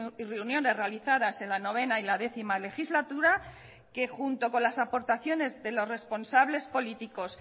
y reuniones realizadas en la novena y la décima legislatura que junto con las aportaciones de los responsables políticos